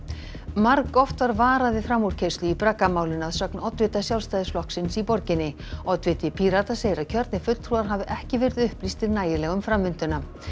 margoft var varað við framúrkeyrslu í braggamálinu að sögn oddvita Sjálfstæðisflokksins í borginni oddviti Pírata segir að kjörnir fulltrúar hafi ekki verið upplýstir nægilega um framvinduna